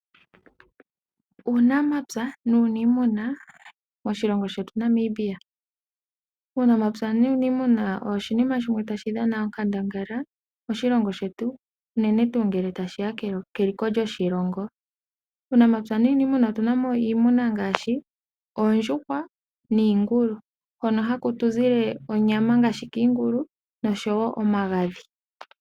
Uunamapya nuuniimuna moshilongo shetu Namibia. Uunamapya nuuniimuna owo oshinima shimwe tashi dhana onkandangala moshilongo shetu unene tuu ngele tashi ya keliko lyoshilongo. Muunamapya nuuniimuna otu na mo iimuna ngaashi oondjuhwa niingulu, hono haku tu zile onyama ngaashi kiingulu noshowo omagadhi.